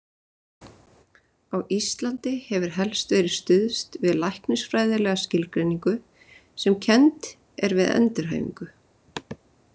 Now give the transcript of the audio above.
Á Íslandi hefur helst verið stuðst við læknisfræðilega skilgreiningu sem kennd er við endurhæfingu.